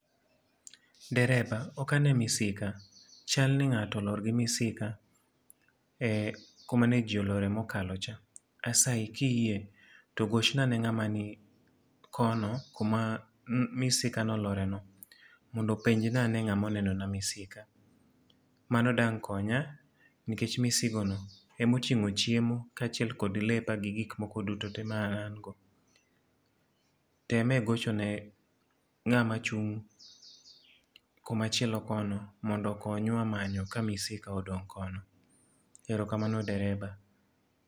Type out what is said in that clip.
Dereba, okane misika, chal ni ngáto olor gi misika e kuma ne ji olore mokalo cha. Asayi ka iyie to gochna ne ngáma ni kono kuma ne misika ne olore no, mondo openja na ane ngáma oneno na misika. Mano dang' konya nikech misigo no ema otingó chiemo, kaachiel kod lepa gi gik moko duto te maango. Teme gocho ne ngáma chung' koma chielo kono, mondo okonywa manyo ka misika odong' kono. Erokamano dereba.